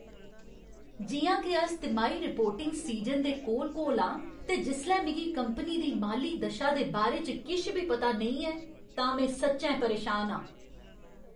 जि'यां के अस तिमाही रिपोर्टिंग सीजन दे कोल कोल आं ते जिसलै मिगी कंपनी दी माली दशा दे बारे च किश बी पता नेईं ऐ तां में सच्चैं परेशान आं।